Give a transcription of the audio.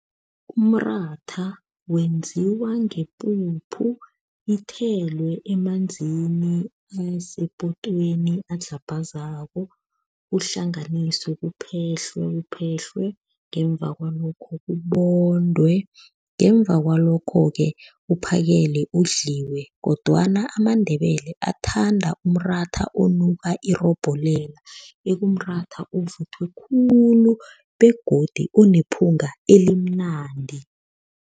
Umratha wenziwa ngepuphu, ithelwe emanzini asepotweni, adlhabhazako, uhlanganiswe, uphehlwe uphehlwe, ngemva kwalokho ubondwe, ngemva kwalokho-ke uphakelwe, udliwe kodwana amaNdebele athanda umratha onuka irobholela, ekumratha ovuthwe khulu begodu onephunga elimnandi.